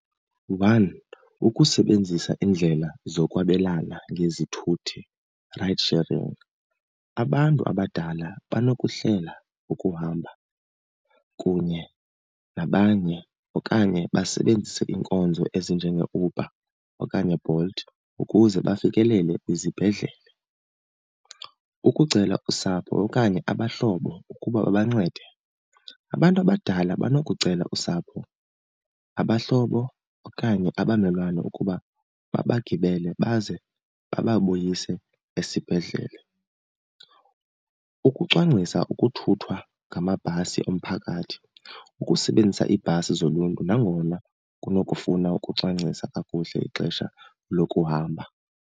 One, ukusebenzisa iindlela zokwabelana ngezithuthi, ride sharing. Abantu abadala banokuhlela ukuhamba kunye nabanye okanye basebenzise iinkonzo ezinjengeeUber okanye Bolt ukuze bafikelele kwizibhedlele. Ukucela usapho okanye abahlobo ukuba babancede, abantu abadala banokucela usapho, abahlobo okanye abamelwane ukuba babagibele baze bababuyise esibhedlele. Ukucwangcisa ukuthuthwa ngamabhasi omphakathi, ukusebenzisa iibhasi zoluntu nangona kunokufuna ukucwangcisa kakuhle ixesha lokuhamba.